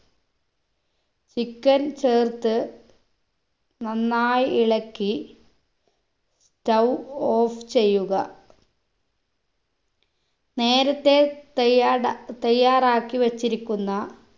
chicken ചേർത്ത് നന്നായി ഇളക്കി stove off ചെയ്യുക നേരത്തെ തയ്യാട തയാറാക്കി വെച്ചിരിക്കുന്ന